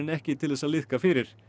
ekki til þess að liðka fyrir